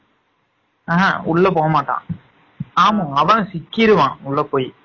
உள்ள போகமாட்டான் ஆமா அவன் சிக்கிறுவான் உள்ள போய்